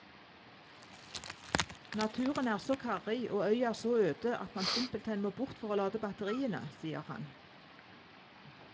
Naturen er så karrig og øya så øde at man simpelthen må bort for å lade batteriene, sier han.